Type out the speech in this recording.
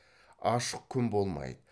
ашық күн болмайды